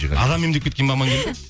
адам емдеп кеткен бе амангелді